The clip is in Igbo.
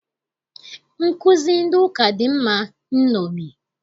Nkụzi ndị ụka dị mma nṅomi.